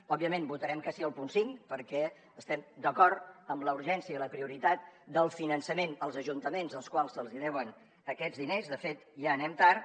òbviament votarem que sí al punt cinc perquè estem d’acord amb la urgència i la prioritat del finançament als ajuntaments als quals se’ls deuen aquests diners de fet ja anem tard